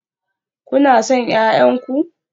Kuna son 'ya'yan ku?